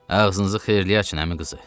Ağzınızı xeyirliyə açın əmi qızı.